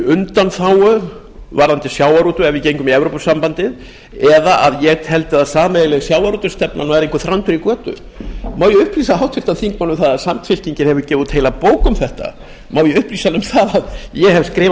undanþágu varðandi sjávarútveg ef við gengum í evrópusambandið eða að ég teldi að sameiginleg sjávarútvegsstefna væri einhver þrándur í götu má ég upplýsa háttvirtan þingmann um að samfylkingin hefur gefið út heila bók um þetta má ég upplýsa hann um það að ég hef skrifað